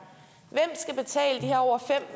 over fem